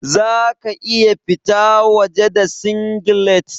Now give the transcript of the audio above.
Za ka iya fita waje da singlet?